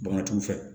Bagantigiw fɛ